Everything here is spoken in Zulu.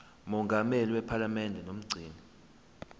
mongameli wephalamende nomgcini